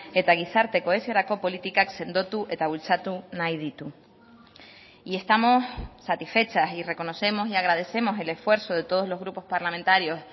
eta gizarte kohesiorako politikak sendotu eta bultzatu nahi ditu y estamos satisfechas y reconocemos y agradecemos el esfuerzo de todos los grupos parlamentarios